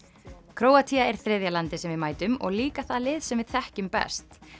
Króatía er þriðja landið sem við mætum og líka það lið sem við þekkjum best